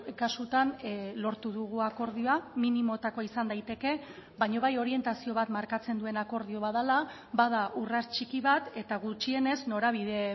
kasutan lortu dugu akordioa minimotakoa izan daiteke baina bai orientazio bat markatzen duen akordio bat dela bada urrats txiki bat eta gutxienez norabide